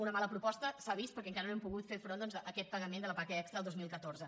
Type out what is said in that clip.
una mala proposta s’ha vist perquè encara no hem pogut fer front doncs a aquest pagament de la paga extra el dos mil catorze